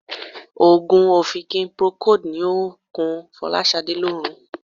Òogùn ọ̀fìnkì Procold ni ó ń kun Fọláṣadé lórun.